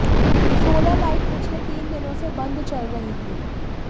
solar light पिछले तीन दिनों से बंद चल रही थी